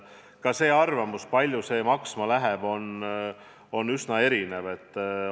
Ka arvamusi, kui palju see kõik maksma läheb, on üsna erinevaid.